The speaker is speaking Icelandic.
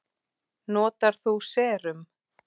Notar þú serum?